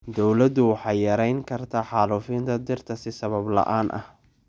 Dawladdu waxay yarayn kartaa xaalufinta dhirta si sabab la'aan ah.